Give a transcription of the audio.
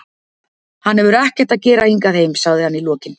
Hann hefur ekkert að gera hingað heim, sagði hann í lokin.